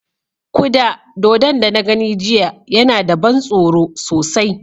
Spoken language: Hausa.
Kuda dodon da na gani jiya yana da ban tsoro sosai.